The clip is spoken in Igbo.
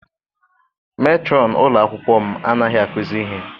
Metrọn ụlọ akwụkwọ m anaghị akuzi ihe.